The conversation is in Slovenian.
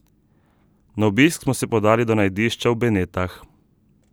Na obisk smo se podali do najdišča na Benetah.